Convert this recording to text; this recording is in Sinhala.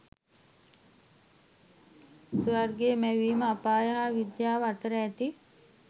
ස්වර්ගය මැවීම අපාය හා විද්‍යාව අතර ඇති